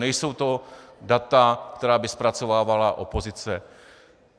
Nejsou to data, která by zpracovávala opozice.